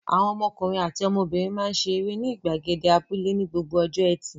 Àwọn ọmọkùnrin àti ọmọbìnrin máa ń ṣe eré ní ìgbàgede abúlé ní gbogbo ọjọ́ ẹtì.